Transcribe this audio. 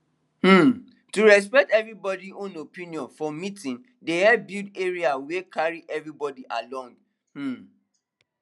um to respect everybody own opinion for meeting dey help build area wey carry everybody along um